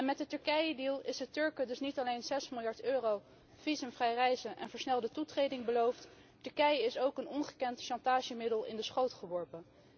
Met de Turkijedeal is de Turken dus niet alleen 6 miljard euro, visumvrij reizen en versnelde toetreding beloofd, Turkije is ook een ongekend chantagemiddel in de schoot geworpen.